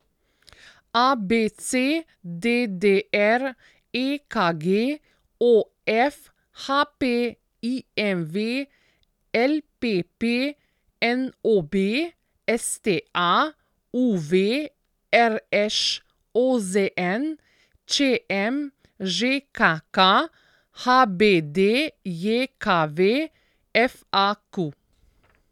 ABC, DDR, EKG, OF, HP, IMV, LPP, NOB, STA, UV, RŠ, OZN, ČM, ŽKK, HBDJKV, FAQ.